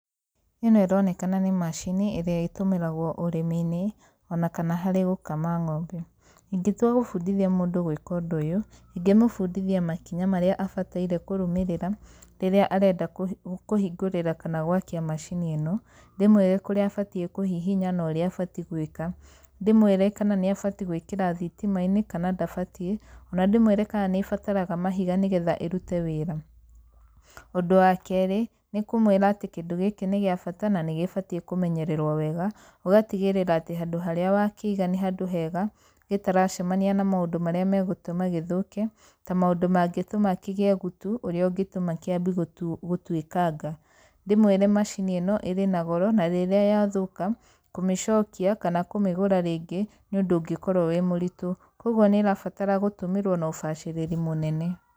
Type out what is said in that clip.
ĩno ĩronekana nĩ macini ĩrĩa ĩtũmĩragwo ũrĩmi-inĩ, ona kana harĩ gũkama ng'ombe. Ingĩtua gũbundithia mũndũ gwĩka ũndũ ũyũ, ingĩmũbundithia makinya marĩa abataire kũrũmĩrĩa, rĩrĩa arenda kũhingũrĩra kana gwakia macini ĩno. Ndĩmwĩre kũrĩa abatiĩ kũhihinya na ũrĩa abatiĩ gwĩka. Ndĩmwĩre kana nĩ abatiĩ gwĩkĩra thitima-inĩ kana ndabatiĩ, ona ndĩmwĩre kaa nĩ ĩbataraga mahiga nĩ getha ĩrute wĩra. Ũndũ wa keerĩ, nĩ kũmwĩra atĩ kĩndũ gĩkĩ nĩ gĩa bata na nĩ gĩbatiĩ kũmenyererwo wega ũgatigĩrĩra atĩ handũ harĩa wakĩiga nĩ handũ hega gĩtaracemania na maũndũ marĩa megũtũma gĩthũke ta maũndũ mangĩtũma kĩgĩe gutu ũrĩa ũngĩtuma kiambie gũtuĩkanga. Ndĩmwĩre macini ĩno ĩrĩ goro, na rĩrĩa yathũũka, kũmĩcokia kana kũmĩgũra rĩngĩ nĩ ũndũ ũngĩkorwo wĩ mũritũ. Kũguo nĩ ĩrabatara gũtũmĩrwo na ũbacĩrĩri mũnene.